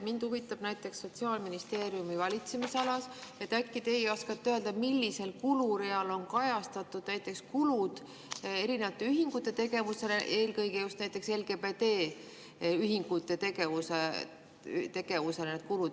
Mind huvitab näiteks Sotsiaalministeeriumi valitsemisala puhul, et äkki teie oskate öelda, millisel kulureal on kajastatud kulud erinevate ühingute tegevusele, eelkõige just näiteks LGBT ühingute tegevusele.